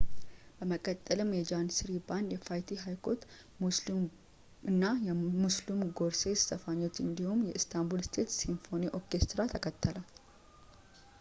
በመቀጠልም የጃኒስሪ ባንድ የፋይቲ ሃይኮች እና ሙስሉም ጉርሴስ ዘፋኞች እንዲሁም የኢስታንቡል ስቴት ሲምፎኒ ኦርኬስትራ ተከተለው